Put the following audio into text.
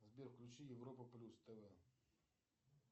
сбер включи европа плюс тв